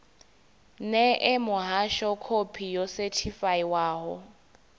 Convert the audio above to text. ṋee muhasho khophi yo sethifaiwaho